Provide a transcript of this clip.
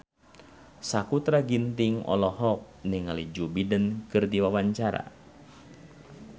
Sakutra Ginting olohok ningali Joe Biden keur diwawancara